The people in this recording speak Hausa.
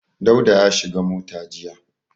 Dauda ya shiga mota jiya.